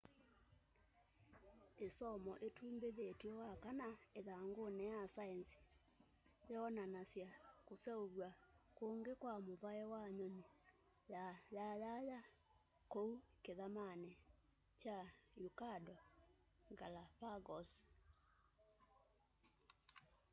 isomo itumbithiw'e wakana ithanguni ya saenzi yoonanasya kuseuvya kungi kwa muvai wa nyunyi ya yayaya kuu kithamani kya ecuador galapagos